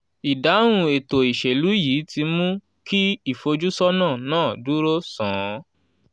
ìdáhùn ètò ìṣèlú yìí ti mú kí ìfojúsọ́nà náà dúró sán-ún.